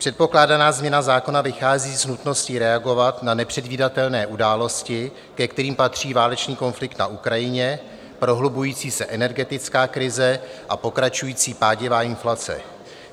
Předpokládaná změna zákona vychází z nutnosti reagovat na nepředvídatelné události, ke kterým patří válečný konflikt na Ukrajině, prohlubující se energetická krize a pokračující pádivá inflace.